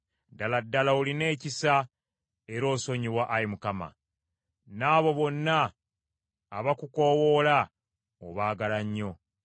Ddala ddala olina ekisa era osonyiwa, Ayi Mukama; n’abo bonna abakukoowoola obaagala nnyo.